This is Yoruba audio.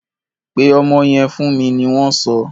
Pe ọmọ yẹn fún mi! ni wọn so.